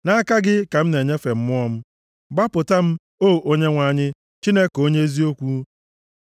Nʼaka gị ka m na-enyefe mmụọ m; gbapụta m, o Onyenwe anyị, Chineke, onye eziokwu.